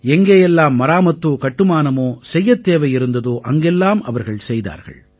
எங்கே எல்லாம் மராமத்தோ கட்டுமானமோ செய்யத் தேவை இருந்ததோ அங்கெல்லாம் அவர்கள் செய்தார்கள்